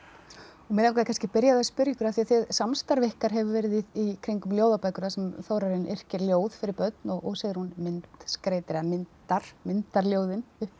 mig langaði kannski að byrja á spyrja ykkur af því samstarf ykkar hefur verið í kringum ljóðabækur þar sem Þórarinn yrkir ljóð fyrir börn og Sigrún myndskreytir eða myndar myndar ljóðin